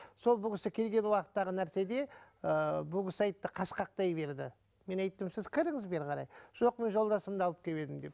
сол бұл кісі келген уақыттағы нәрседе ыыы бұл кісі айтты қашқақтай берді мен айттым сіз кіріңіз бері қарай жоқ мен жолдасымды алып келіп едім деп